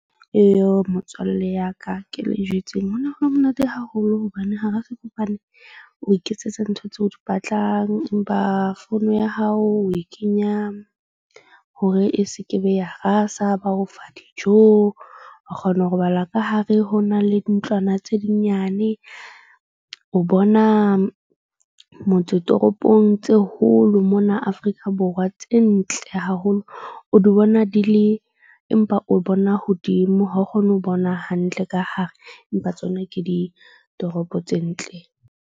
Motswalle ya ka ke le jwetseng ho ne ho le monate haholo hobane hara sefofane, o iketsetsa ntho tseo o di batlang. Empa phone ya hao o e kenya hore e se ke be ya rasa. Ba o fa dijo. O kgona ho robala ka hare ho na le ntlwana tse di nyane. O bona motse toropong tse holo mona Afrika Borwa. Tse ntle haholo, o di bona di le, empa o bona hodimo ha o kgone ho bona hantle ka hare. Empa tsona ke ditoropo tse ntle.